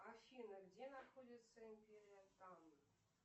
афина где находится империя тан